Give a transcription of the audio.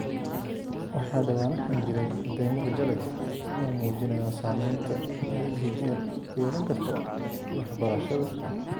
Waxaa dhawaanahan jiray cadeymo rajo leh oo muujinaya saameynta ay DPL ku yeelan karto waxbarashada.